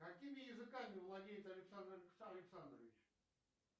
какими языками владеет александр александрович